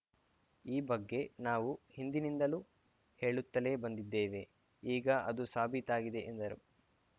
ಈ ಬಗ್ಗೆ ನಾವು ಹಿಂದಿನಿಂದಲೂ ಹೇಳುತ್ತಲೇ ಬಂದಿದ್ದೇವೆ ಈಗ ಅದು ಸಾಬೀತಾಗಿದೆ ಎಂದರು